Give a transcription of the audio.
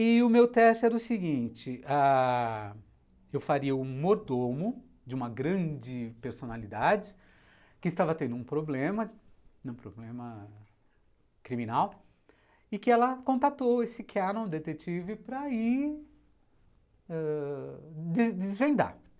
E o meu teste era o seguinte ah, eu faria o mordomo de uma grande personalidade que estava tendo um problema, um problema criminal, e que ela contatou esse Canon detetive para ir ãh desvendar.